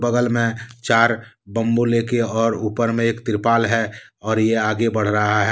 बगल मे चार बंबू लेके और ऊपर मे एक तिरपाल है और ये आगे बढ़ रहा है।